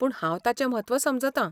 पूण हांव ताचें म्हत्व समजतां.